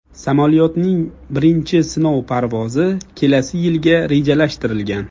Samolyotning birinchi sinov parvozi kelasi yilga rejalashtirilgan.